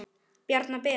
bjarna ben?